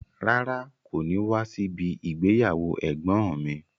Rárá, kò ní wá síbi ìgbéyàwó ẹ̀gbọ́n ǹ mi.